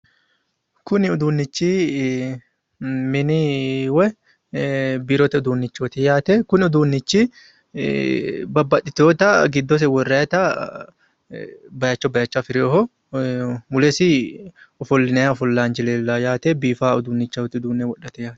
Kuni uduunnichi mini woy biirote uduunnichoti yaate kuni uduunnichi babbaxxitewoota giddose worrata baayicho baayicho afi'reewoho mulesi ofollinay ofollaanchi leellawo yaate biiffawo uduunnichooti uduunne wodhate yaate.